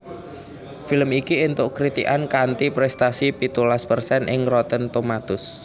Film iki entuk kritikan kanthi prestasi pitulas persen ing Rotten Tomatoes